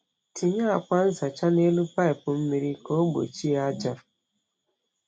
Tinye akwa nzacha n’elu paịpụ mmiri ka ọ gbochie aja.